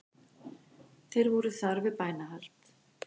Þeir voru þar við bænahald